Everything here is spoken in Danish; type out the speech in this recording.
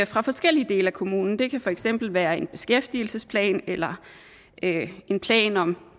fra forskellige dele af kommunen det kan for eksempel være en beskæftigelsesplan eller en en plan om